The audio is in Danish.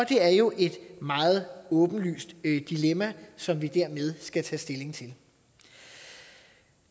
er jo et meget åbenlyst dilemma som vi dermed skal tage stilling til